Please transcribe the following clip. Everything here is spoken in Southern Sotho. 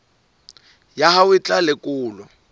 ya hao e tla lekolwa